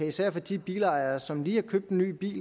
især for de bilejere som lige har købt ny bil